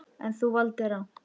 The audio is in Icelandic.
En, þú valdir rangt.